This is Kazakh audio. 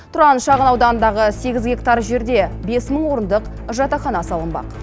тұран шағын ауданындағы сегіз гектар жерде бес мың орындық жатақхана салынбақ